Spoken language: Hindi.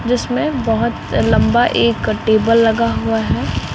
जिसमें बहोत लंबा एक टेबल लगा हुआ है।